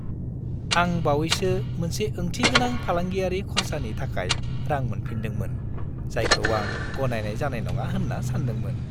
आं बावैसो मोनसे ओंथिगोनां फालांगियारि खर्सानि थाखाय रां मोनफिन्दोंमोन, जायखौ आं गनायनाय जानाय नङा होन्ना सान्दोंमोन।